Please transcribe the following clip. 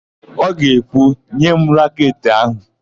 Ọ ga-ekwu, "nye m raketị áhụ̀"!